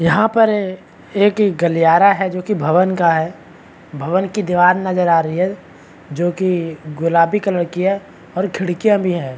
यह पर एक गलियारा है जो की भवन का है भवन की दीवार नजर आ रही है जो की गुलाबी कलर की है और खिड़कियाँ भी है।